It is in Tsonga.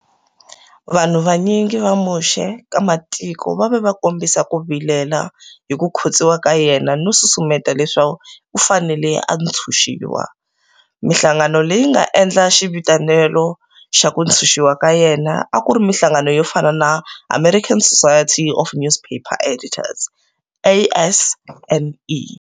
Vanhu vanyingi va muxe ka matiko va ve va kombisa ku vilela hi ku khotsiwa ka yena no susumeta leswo u fanele a ntshunxiwa, minhlangano leyi yi nga endla xivitanelo xa ku ntshunxiwa ka yena a ku ri minhlangano yo fana na American Society of Newspaper Editors, ASNE.